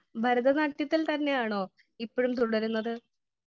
Speaker 1 ഭരത നാട്യത്തിൽ തന്നെയാണോ ഇപ്പോഴും തുടരുന്നത് ?